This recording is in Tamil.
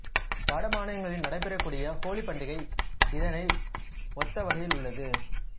வட மாநிலங்களில் நடைபெறக்கூடிய ஹோலி பண்டிகை இதனை ஒத்தவகையில் உள்ளது